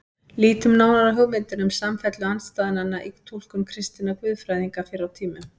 Lítum nánar á hugmyndina um samfellu andstæðnanna í túlkun kristinna guðfræðinga fyrr á tímum.